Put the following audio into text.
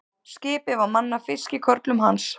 Skipið var mannað fiskikörlum hans.